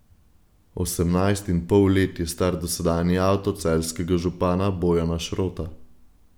Osemnajst in pol let je star dosedanji avto celjskega župana Bojana Šrota.